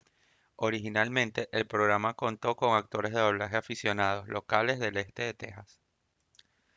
originalmente el programa contó con actores de doblaje aficionados locales del este de tejas